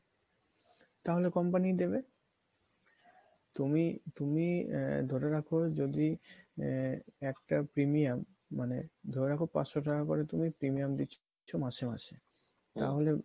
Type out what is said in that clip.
তাহলে company ই দেবে তুমি তুমি আহ ধরে রাখো যদি আহ একটা premium মানে ধরে রাখো পাঁচশ টাকা করে তুমি premium দিচ্ছ মাসে মাসে তাহলে